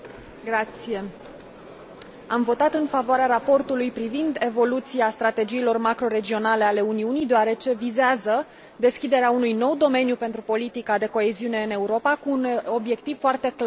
Am votat în favoarea raportului privind evoluția strategiilor macroregionale ale Uniunii, deoarece vizează deschiderea unui nou domeniu pentru politica de coeziune în Europa, cu un obiectiv foarte clar dezvoltarea teritorială.